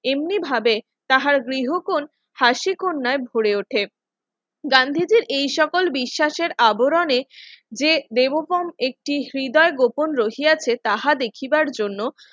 এমনিভাবে তাহার গৃহকোণ হাসে কন্যায় ভরে ওঠে গান্ধীজীর এই সকল বিশ্বাসের আবরণের যে দেবগ্রাম একটি হৃদয় গোপন রহিয়াছে তাহা দেখিবার জন্য